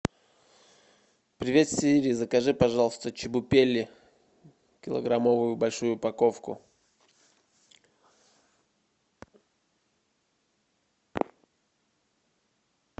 привет сири закажи пожалуйста чебупели килограммовую большую упаковку